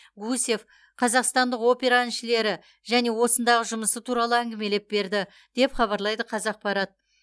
гусев қазақстандық опера әншілері және осындағы жұмысы туралы әңгімелеп берді деп хабарлайды қазақпарат